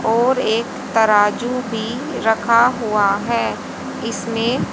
और एक तराजू भी रखा हुआ है इसमें--